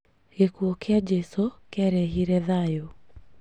Gĩkuũ kia jesũ kĩarehire thayũ